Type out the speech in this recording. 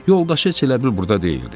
Yoldaşı heç elə bil burda deyildi.